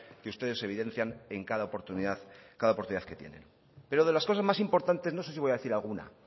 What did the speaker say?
que ustedes evidencian en cada oportunidad que tienen pero de las cosas más importantes no sé si voy a decir alguna